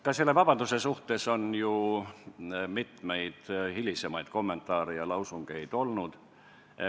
Ka selle vabanduse kohta on ju mitmeid hilisemaid kommentaare ja lausungeid olnud.